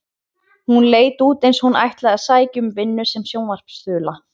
Hún leit út eins og hún ætlaði að sækja um vinnu sem sjónvarpsþula.